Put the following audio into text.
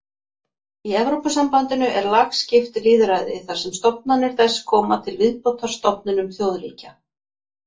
Í Evrópusambandinu er lagskipt lýðræði þar sem stofnanir þess koma til viðbótar stofnunum þjóðríkja.